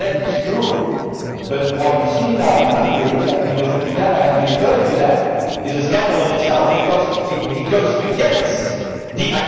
What you said is true, but what we see now in Hungary and Mr Pittella referred to this is a scandal in itself, because it goes against the